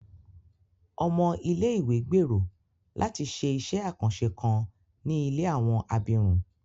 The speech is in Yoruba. Ọmọ ilé-ìwé gbèrò láti ṣé iṣẹ àkànṣe kan ní ilé àwọn abirùn